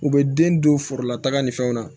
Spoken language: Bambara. U bɛ den don foro lataga ni fɛnw na